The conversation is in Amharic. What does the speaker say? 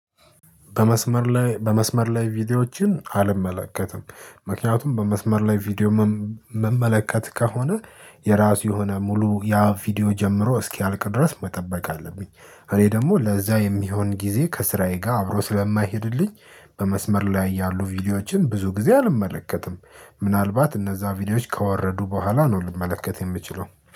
በመስመር ላይ በመስመር ላይ ቪዲዮዎችን አልመለከትም። ምክንያቱም በመስመር ላይ ቪዲዮ ምመለከት ከሆነ የራሱ የሆነ ሙሉ ያ ቪዲዮ ጀምሮ እስኪያልቅ ድረስ መጠበቅ አለብኝ። እኔ ደግሞ ለዛ የሚሆን ጊዜ ከስራዬ ጋር አብሮ ስለማይሄድልኝ። በመስመር ላይ ያሉ ቪዲዮዎችን ብዙ ጊዜ አልመለከትም። ምናልባት እነዛ ቪዲዮዎች ከወረዱ በኋላ ነው ልመለከት የምችለው